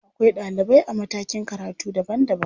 Akwai ɗalibai a matakan karatu daban-daban.